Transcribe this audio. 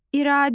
İradə.